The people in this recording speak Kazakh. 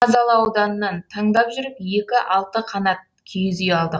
қазалы ауданынан таңдап жүріп екі алты қанат киіз үй алдық